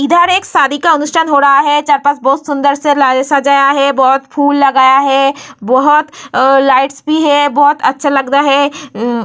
इधर एक शादी का अनुष्ठान हो रहा है। चार-पास बोहोत सुंदर से लाया सजाया है बोहोत फूल लगाया है बोहोत अ लाइट्स भी है बोहोत अच्छा लग रहा है अ --